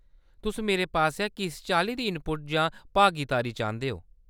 तुस मेरे पासेआ किस चाल्ली दा इनपुट जां भागीदारी चांह्‌‌‌दे ओ ?